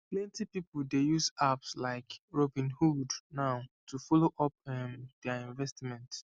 plenty people dey use apps like robinhood now to follow up um their investment